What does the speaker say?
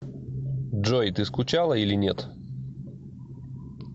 джой ты скучала или нет